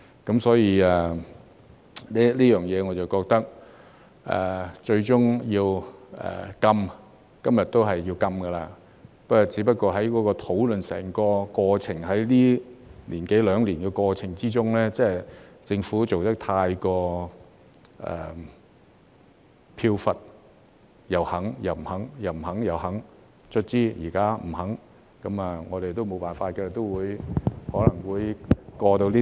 在這方面，我覺得今日結果也是要禁的，只不過是在整整一年多兩年的討論過程之中，政府做得太飄忽，又肯又不肯，又不肯又肯，最終現在不肯，我們都沒有辦法，這項法案可能都會獲得通過。